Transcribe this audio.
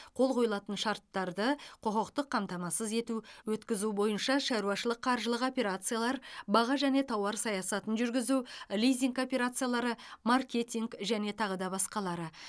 қол қойылатын шарттарды құқықтық қамтамасыз ету өткізу бойынша шаруашылық қаржылық операциялар баға және тауар саясатын жүргізу лизинг операциялары маркетинг және тағы да басқалары